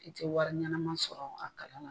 I tɛ wari ɲɛnama sɔrɔ a kala la.